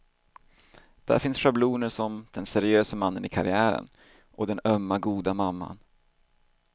Där finns schabloner som den seriöse mannen i karriären och den ömma, goda mamman.